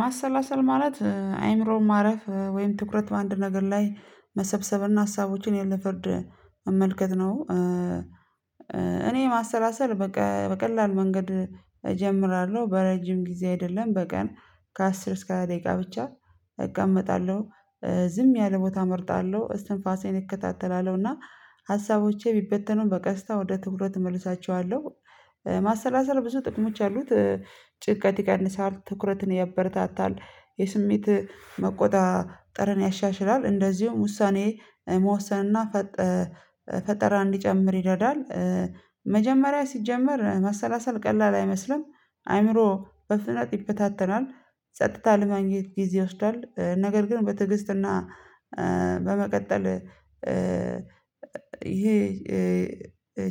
ማሰላሰል ማለት አይምሮን ማረፍ ወይም ትኩረት በአንድ ነገር ላይ መሰብሰብና ሀሳቦችን ያለፍርድ መመልከት ነው። እኔ ማሰላሰል በቀላል መንገድ እጀምራለሁ። በረጅም ጊዜ አይደለም በቀን ከአስር እስከ ሃያ ደቂቃ ብቻ እቀመጣለሁ። ዝም ያለ ቦታ እመርጣለሁ፣ እስትንፋሴን እከታተላለሁና ቢበተኑም በቀስታ ወደ ትኩረት እመልሳቸዋለሁ ማሰላሰል ብዙ ጥቅሞች አሉት። ጭንቀት ይቀንሳል፣ ትኩረትን ያበረታታል፣ የስሜት መቆጣጠርን ያሻሽላል፣ እንደዚሁም ውሳኔ መወሰንና ፈጠራ እንዲጨምር ይረዳል። መጀመሪያ ሲጀመር ማሰላሰል ቀላል አይመስልም። አይምሮ በፍጥነት ይበታተናል፣ ጸጥታ ለማግኘት ጊዜ ይወስዳል፣ ነገር ግን በትዕግስትና በመቀጠል ይሄ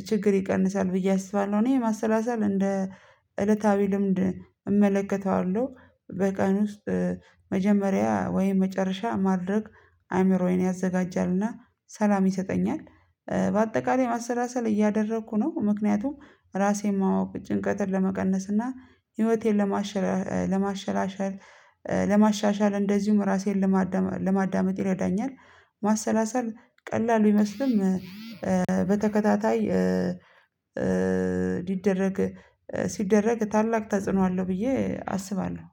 ችግር ይቀንሳል ብዬ አስባለሁ። እኔ ማሰላሰል እንደ እለታዊ ልምድ እመለከተዋለሁ። በቀን ውስጥ መጀመሪያ ወይም መጨረሻ ማድረግ አእምሮዬን ያዘጋጃልና ሰላም ይሰጠኛል። በአጠቃላይ ማሰላሰል እያደረኩ ነው። ምክንያቱም ራሴን ማወቅ፣ ጭንቀትን ለመቀነስ፣ እና ህይወቴን ለማሸራሻል ለማሻሻል እንደዚሁም ራሴን ለማዳመጥ ይረዳኛል። ማሰላሰል ቀላል ቢመስልም በተከታታይ ሊደረግ ሲደረግ ታላቅ ተጽዕኖ አለው ብዬ አስባለሁ።